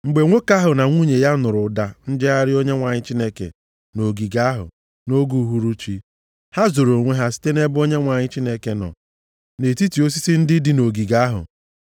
Mgbe nwoke ahụ na nwunye ya nụrụ ụda njegharị Onyenwe anyị Chineke nʼogige ahụ nʼoge uhuruchi, ha zoro onwe ha site nʼebe Onyenwe anyị Chineke nọ nʼetiti osisi ndị dị nʼogige ahụ.